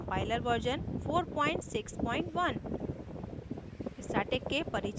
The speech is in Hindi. g ++ compiler version 461